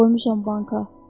Qoymuşam banka.